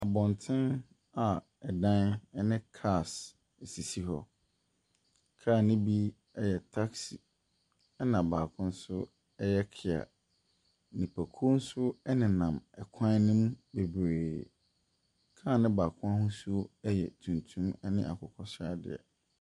Abɔten a ɛdan ne cars sisi hɔ. Car no bi taksi. Ɛna baako nso yɛ KIA. Nnipakuw nso nenam kwan no mu bebree. Car no baako n'ahosuo yɛ tuntum ne akokɔsradeɛ.